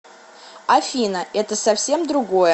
афина это совсем другое